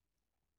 *